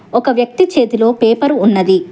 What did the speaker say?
ఒక వ్యక్తి చేతిలో పేపరు ఉన్నది.